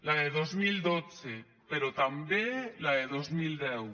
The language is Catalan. la de dos mil dotze però també la de dos mil deu